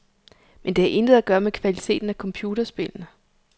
Men det har intet at gøre med kvaliteten af computerspillene.